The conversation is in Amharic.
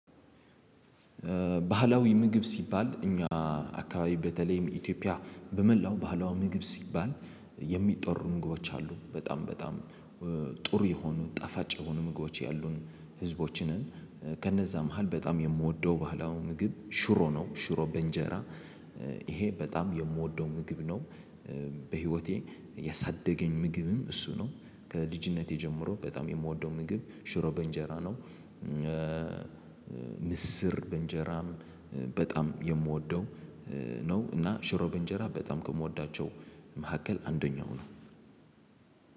ባህላዊ ምግብ ሲባል እኛ አካባቢ በተለይም ኢትዮጵያ በመላው ባህላዊ ምግብ ሲባል የሚጠሩ ምግቦች አሉ በጣም በጣም ጥሩ የሆኑ ጣፋጭ የሆኑ ምግቦች ያሉን ህዝቦች ነን። ከነዛ መሃል በጣም የምወደው ባህላው ምግብ ሽሮ ነው ሽሮ በእንጀራ ይሄ በጣም የምወደው ምግብ ነው። በህይወቴ ያሳደገኝ ምግብም እሱ ነው ከልጅነቴ ጀምሮ በጣም የምወደው ምግብ ሽሮ በእንጀራ ነው። ምስር በእንጀራም በጣም የምወደው ነው። እና ሽሮ በእንጀራ በጣም ከምወዳቸው መካከል አንደኛው ነው።